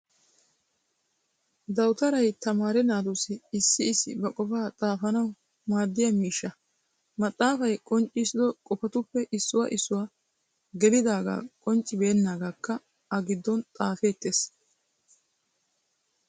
Dawuttaray tamaare naatussi, issi issi ba qofaa xaafaanawu maadiyaa miishshaa. Maxaafaay qonccissido qofatuppe issuwaa issuwaa gelidaga qonccibenagakka a giddon xaafeetees.